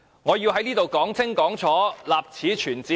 我要在這裏說得清清楚楚，立此存照。